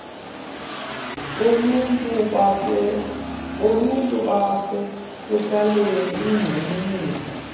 boluntu nobasekuhlaleni egxininisa